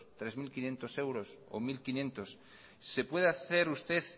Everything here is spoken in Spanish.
tres mil quinientos euros o mil quinientos se puede hacer usted